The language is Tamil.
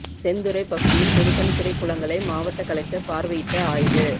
செந்துறை பகுதியில் பொதுப்பணித்துறை குளங்களை மாவட்ட கலெக்டர் பார்வையிட்டு ஆய்வு